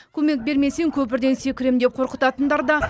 көмек бермесең көпірден секіремін деп қорқытатындар да